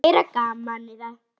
Meira gamanið það!